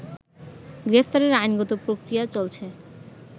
গ্রেফতারের আইনগত প্রক্রিয়া চলছে